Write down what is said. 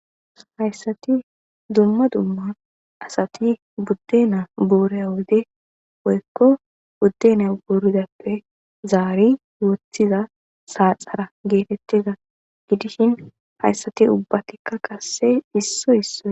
hayssati dumma dumma asati budde naa buureya wode woykko budde naa buuridappe zaari wothiza saaxara geetettiza gidishin hayssati ubbatikka kasse issoy isso